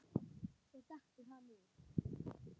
Svo dettur hann út.